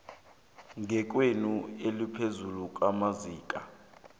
ngekghono eliphezulu amazinga